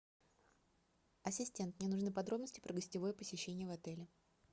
ассистент мне нужны подробности про гостевое посещение в отеле